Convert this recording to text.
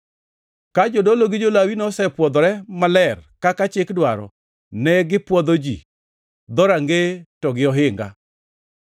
Ka jodolo gi jo-Lawi nosepwodhore maler kaka chik dwaro, ne gipwodho ji, dhorangeye, to gi ohinga.